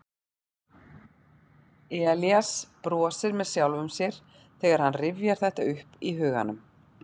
Elías brosir með sjálfum sér þegar hann rifjar þetta upp í huganum.